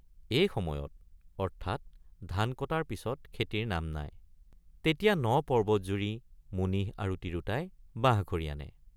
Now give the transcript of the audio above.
এই সময়ত অৰ্থাৎ ধান কটাৰ পিচত খেতিৰ নাম নাই ৷ তেতিয়া ন পৰ্বত জুৰি মুনিহ আৰু তিৰোতাই বাঁহখৰি আনে।